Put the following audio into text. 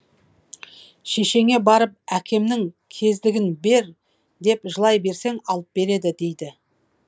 шешеңе барып әкемнің кездігін бер деп жылай берсең алып береді дейді